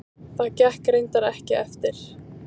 Það gekk reyndar ekki eftir.